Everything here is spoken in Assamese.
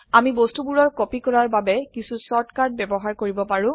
আমি বস্তুবোৰৰ কপি কৰাৰ বাবে কিছু শৰ্ট কাট ব্যবহাৰ কৰিব পাৰো